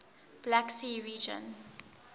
black sea region